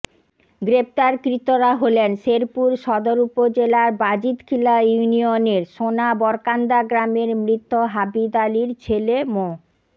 গ্রেপ্তারকৃতরা হলেন শেরপুর সদর উপজেলার বাজিতখিলা ইউনিয়নের সোনাবরকান্দা গ্রামের মৃত হাবেদ আলীর ছেলে মো